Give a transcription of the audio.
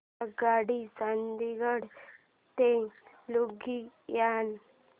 आगगाडी चंदिगड ते लुधियाना